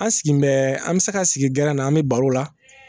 An sigi bɛ an bɛ se ka sigi gɛrɛn na an bɛ baro la